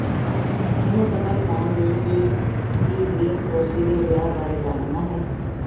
ਇਹ ਪਤਾ ਲਗਾਉਣ ਲਈ ਕਿ ਕੀ ਗ੍ਰੀਨਕਰੌਂਸੀ ਦੇ ਵਿਆਹ ਬਾਰੇ ਜਾਣਨਾ ਹੈ